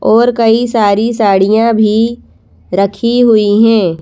और कई सारी साड़ियां भी रखी हुई हैं।